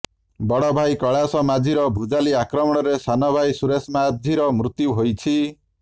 ବଡ଼ଭାଇ କୈଳାସ ମାଝିର ଭୁଜାଲି ଆକ୍ରମଣରେ ସାନ ଭାଇ ସୁରେଶ ମାଝିର ମୃତ୍ୟୁ ହୋଇଛି